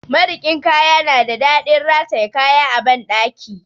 Marikin kaya na da daɗin rataye kaya a banɗaki.